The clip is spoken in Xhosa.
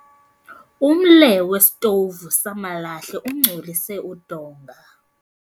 Umle wesitovu samalahle ungcolise udonga.